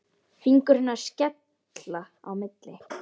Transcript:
Fingur hennar skilja á milli.